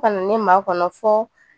Ka na ne ma kɔnɔ fɔ